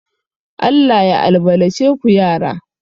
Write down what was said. Allah ya albalace ku yara